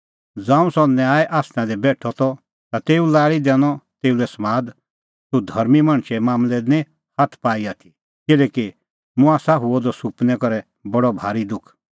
ज़ांऊं सह न्याय आसना दी बेठअ द त ता तेऊए लाल़ी दैनअ तेऊ लै समाद तूह धर्मीं मणछे मांमलै दी निं हाथ पाई आथी किल्हैकि मुंह आसा हुअ द सुपनै करै बडअ भारी दुख